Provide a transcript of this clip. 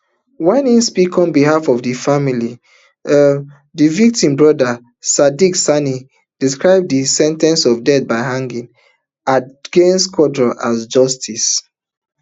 wen im speak on behalf of di family um di victim brother sadiq sani describe di sen ten ce of death by hanging against quarong as justice